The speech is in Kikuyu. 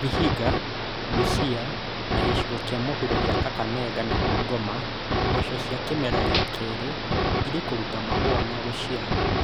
Vihiga, Busia na gĩcigo kĩa mũhuro kĩa Kakamega na Bungoma, mboco cia kĩmera gĩa kerĩ irĩ kũruta mahũa na gũciara